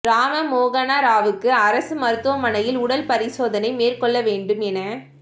ராம மோகன ராவுக்கு அரசு மருத்துவமனையில் உடல் பரிசோதனை மேற்கொள்ளவேண்டும் என